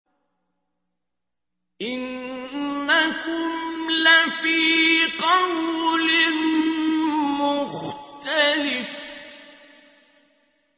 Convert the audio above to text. إِنَّكُمْ لَفِي قَوْلٍ مُّخْتَلِفٍ